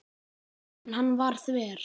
En hann var þver.